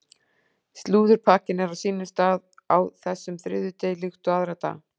Slúðurpakkinn er á sínum stað á þessum þriðjudegi líkt og aðra daga.